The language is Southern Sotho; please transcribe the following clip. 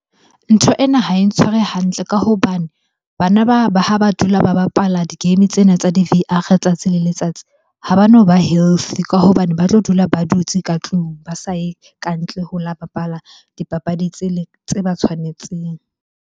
Ntho ena ha e ntshware hantle ka hobane bana ba ha ba dula ba bapala di-game tsena tsa di-V_R letsatsi le letsatsi ha bano ba healthy. Ka hobane ba tlo dula ba dutse ka tlung, ba sa ye ka ntle ho la bapala dipapadi tsele, tse ba tshwanetseng.